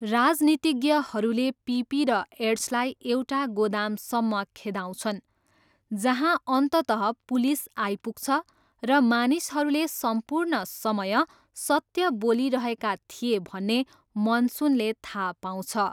राजनीतिज्ञहरूले Pippi र एड्सलाई एउटा गोदामसम्म खेदाउँछन् जहाँ अन्ततः पुलिस आइपुग्छ र मानिसहरूले सम्पूर्ण समय सत्य बोलिरहेका थिए भन्ने मनसुनले थाहा पाउँछ।